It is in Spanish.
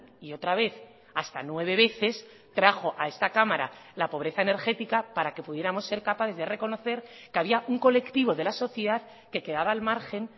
y otra vez hasta nueve veces trajo a esta cámara la pobreza energética para que pudiéramos ser capaces de reconocer que había un colectivo de la sociedad que quedaba al margen